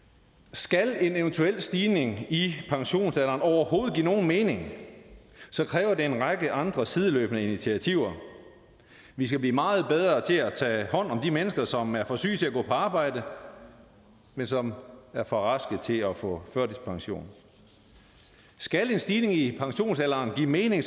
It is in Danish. skal en eventuel stigning i pensionsalderen overhovedet give nogen mening kræver det en række andre sideløbende initiativer vi skal blive meget bedre til at tage hånd om de mennesker som er for syge til at gå på arbejde men som er for raske til at få førtidspension skal en stigning i pensionsalderen give mening